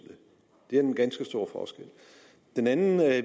det er den ganske store forskel den anden